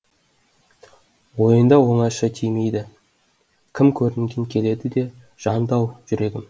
ойында оңаша тимейді кім көрінген келеді де жанды ау жүрегім